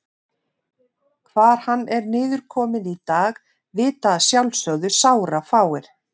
Hvar hann er niðurkominn í dag vita að sjálfsögðu sárafáir.